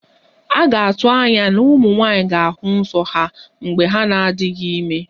A ga-atụ anya na ụmụ nwanyị ga-ahụ nso ha mgbe ha na-adịghị ime